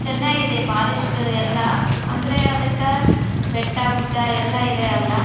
ಚೆನ್ನಾಗಿದೆ ಫಾರೆಸ್ಟ್ ಎಲ್ಲ ಅಂದ್ರೆ ಅದಕ್ಕ ಬೆಟ್ಟ ಗುಡ್ಡ ಎಲ್ಲ ಇದೆ ಅಲ್ಲ --